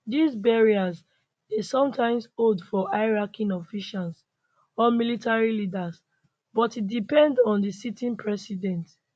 dis burials dey sometimes hold for high ranking officials or military leaders but e depend on di sitting president